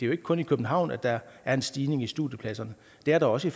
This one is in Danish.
jo ikke kun i københavn at der er en stigning i studiepladser men det er der også